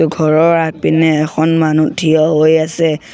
ঘৰৰ আগপিনে এখন মানুহ থিয় হৈ আছে।